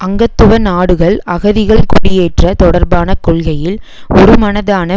அங்கத்துவ நாடுகள் அகதிகள் குடியேற்ற தொடர்பான கொள்கையில் ஒருமனதான